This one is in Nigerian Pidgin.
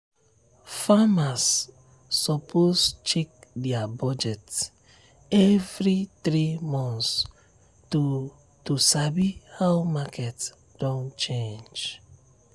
farmers suppose check their budget every three months to to sabi how market don change.